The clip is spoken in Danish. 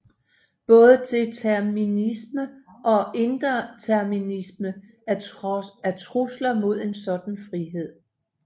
Både determinisme og indeterminisme er trusler mod en sådan frihed